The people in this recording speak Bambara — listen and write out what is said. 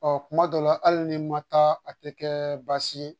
Ɔ kuma dɔ la hali ni n ma taa a tɛ kɛ baasi ye